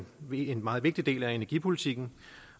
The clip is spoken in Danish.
en meget vigtig del af energipolitikken